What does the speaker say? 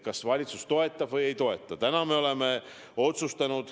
Kas valitsus toetab või ei toeta?